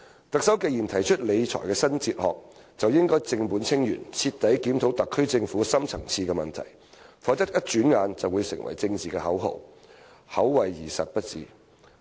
"特首既然提出理財新哲學，便應正本清源，徹底檢討特區政府的深層次問題，否則轉眼便會成為政治口號，口惠而實不至。